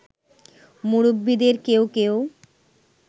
মুরব্বিদের কেউ কেউ